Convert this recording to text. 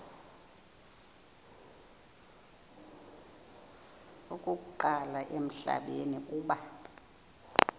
okokuqala emhlabeni uba